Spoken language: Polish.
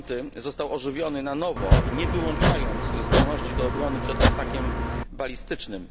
5 został ożywiony na nowo nie wyłączając zdolności do obrony przed atakiem balistycznym.